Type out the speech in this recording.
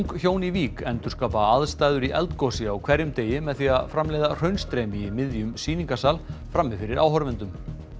hjón í Vík endurskapa aðstæður í eldgosi á hverjum degi með því að framleiða í miðjum sýningarsal frammi fyrir áhorfendum